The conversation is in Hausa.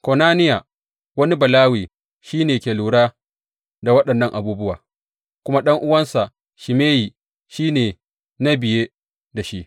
Konaniya, wani Balawe, shi ne ke lura da waɗannan abubuwa, kuma ɗan’uwansa Shimeyi shi ne na biye da shi.